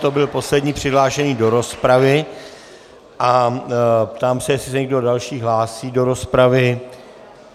To byl poslední přihlášený do rozpravy a ptám se, jestli se někdo další hlásí do rozpravy.